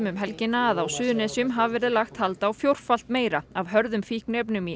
um helgina að á Suðurnesjum hafi verið lagt hald á fjórfalt meira af hörðum fíkniefnum í